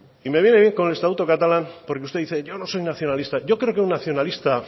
y me viene bien con el estatuto catalán porque usted dice yo no soy nacionalista yo creo que un nacionalista